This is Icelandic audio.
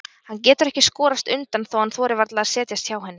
Hann getur ekki skorast undan þó að hann þori varla að setjast hjá henni.